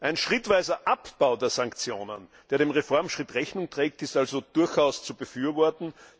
Ein schrittweiser Abbau der Sanktionen, der dem Reformschritt Rechnung trägt, ist also durchaus zu befürworten.